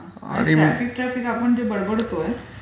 Traffic traffic आपण जे बडबडतोय.